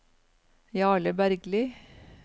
Jarle Bergli